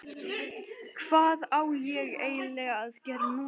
Hvað á ég eiginlega að gera núna???